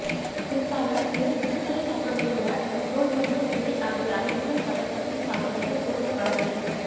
குறிப்பாக வெறும் முத்துக்களை சாப்பிடுவதைவிட அதன் தோல் மற்றும் விதை ஆகிய அனைத்தையும் பதப்படுத்தி சாப்பிடுவது கூடுதல் பலனளிக்கும்